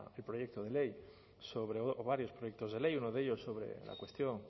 el proyecto de ley sobre varios proyectos de ley uno de ellos sobre la cuestión